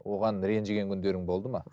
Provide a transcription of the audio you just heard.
оған ренжіген күндерің болды ма